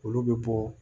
Olu bɛ bɔ